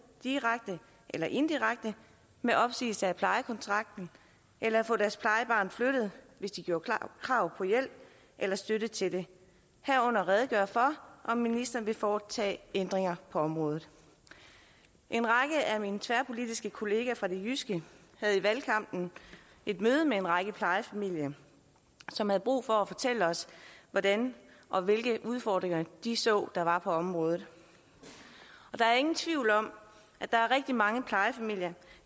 direkte eller indirekte med opsigelse af lejekontrakten eller få deres plejebarn flyttet hvis de gjorde krav på hjælp eller støtte til det herunder redegøre for om ministeren vil foretage ændringer på området en række af mine tværpolitiske kollegaer fra det jyske havde i valgkampen et møde med en række plejefamilier som havde brug for at fortælle os hvordan og hvilke udfordringer de så der var på området der er ingen tvivl om at der er rigtig mange plejefamilier